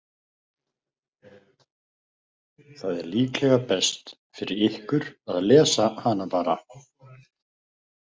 Það er líklega best fyrir ykkur að lesa hana bara.